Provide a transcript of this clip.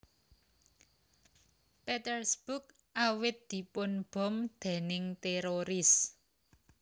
Petersburg awit dipun bom déning téroris